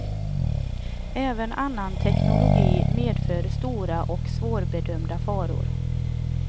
Även annan teknologi medför stora och svårbedömda faror.